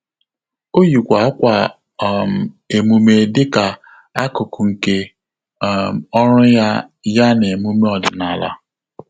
Ọ́ yìkwà ákwà um emume dịka ákụ́kụ́ nke um ọ́rụ́ ya ya na emume ọ́dị́nála.